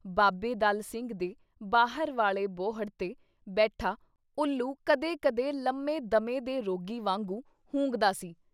ਬਾਬੇ ਦਲ ਸਿੰਘ ਦੇ ਬਾਹਰ ਵਾਲ਼ੇ ਬੋਹੜ ’ਤੇ ਬੈਠਾ ਉੱਲੂ ਕਦੇ ਕਦੇ ਲੰਮੇ ਦਮੇ ਦੇ ਰੋਗੀ ਵਾਗੂੰ ਹੂੰਗਦਾ ਸੀ।